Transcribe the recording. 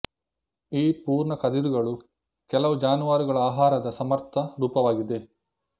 ಈ ಪೂರ್ಣ ಕದಿರುಗಳು ಕೆಲವು ಜಾನುವಾರುಗಳ ಆಹಾರದ ಸಮರ್ಥ ರೂಪವಾಗಿದೆ